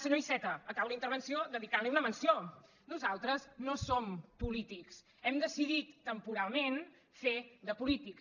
senyor iceta acabo la intervenció dedicant li una men ció nosaltres no som polítics hem decidit temporalment fer de polítics